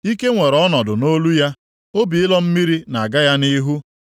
Ike nwere ọnọdụ nʼolu ya, obi ịlọ mmiri na-aga ya nʼihu.